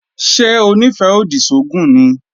Ṣé Onífẹ́-odi sógùn ni?